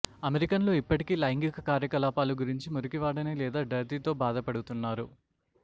అమెరికన్లు ఇప్పటికీ లైంగిక కార్యకలాపాలు గురించి మురికివాడని లేదా డర్టీతో బాధపడుతున్నారు